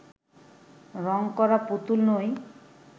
রং করা পুতুল নই